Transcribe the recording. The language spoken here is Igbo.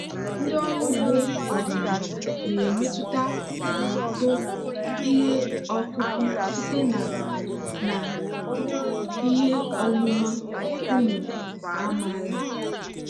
ndị ọrụ ugbo ọdịnala na-emetụta uto ihe ọkụkụ site na na ihe ọmụma ụmụ amaala.